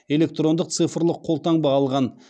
электрондық цифрлық қолтаңба алған